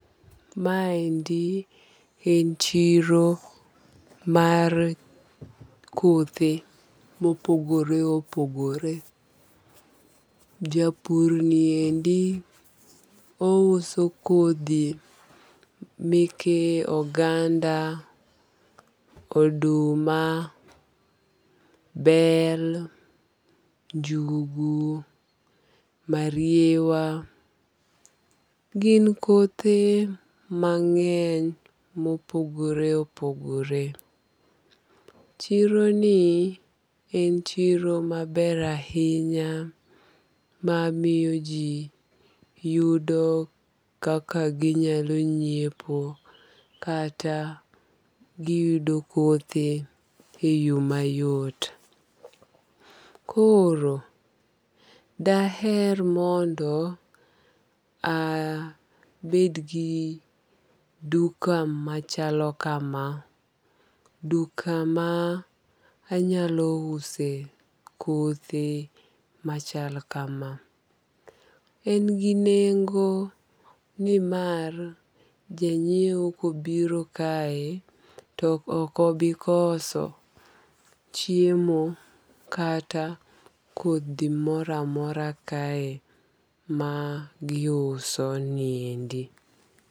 Ma endi en chiro mar kothe mopogore opogore. Japurni endi ouso kodhi meke oganda, oduma, bel, njugu, mariewa. Gin kothe mang'eny mopogore opogore. Chironi en chiro maber ainya mamiyo jii yudo kaka ginyalo nyiepo kata giyudo kothe e yoo mayot. Koro daher mondo aaa abedgi duka machalo kama. Duka manyalo use kothe machal kama. En gi nengo ni mar janyieo kobiro kae tokobikoso chiemo kata kodhi moramora kae ma giusoniendi.